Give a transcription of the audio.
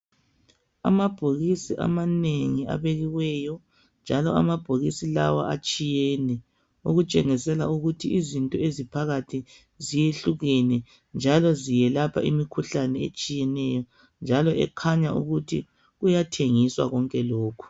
Amabhokisi amanengi abekiweyo njalo amabhokisi lawa atshiyene okutshengisela ukuthi izinto eziphakathi ziyehlukene njalo ziyelapha imikhuhlane etshiyeneyo njalo ekhanya ukuthi kuyathengiswa konke lokhu